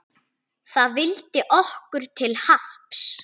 Það vildi okkur til happs.